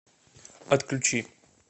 отключи